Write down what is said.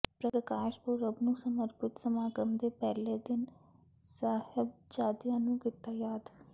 ਪ੍ਰਕਾਸ਼ ਪੁਰਬ ਨੂੰ ਸਮਰਪਿਤ ਸਮਾਗਮ ਦੇ ਪਹਿਲੇ ਦਿਨ ਸਾਹਿਬਜ਼ਾਦਿਆਂ ਨੂੰ ਕੀਤਾ ਯਾਦ